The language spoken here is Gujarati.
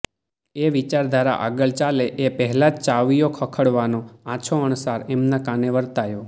એ વિચારધારા આગળ ચાલે એ પહેલાં જ ચાવીઓ ખખડવાનો આછો અણસાર એમના કાને વર્તાયો